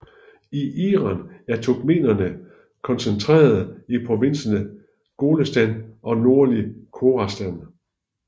I Iran er turkmenerene koncentrerede i provinserne Golestan og nordlige Khorasan